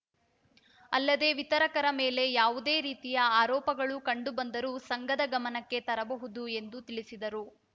ಅಲ್ಲದೆ ವಿತರಕರ ಮೇಲೆ ಯಾವುದೇ ರೀತಿಯ ಆರೋಪಗಳು ಕಂಡು ಬಂದರೂ ಸಂಘದ ಗಮನಕ್ಕೆ ತರಬಹುದು ಎಂದು ತಿಳಿಸಿದರು